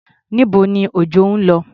Níbo ni Òjọ́ lọ?